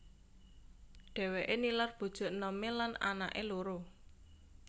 Dhèwèké nilar bojo enomé lan anaké loro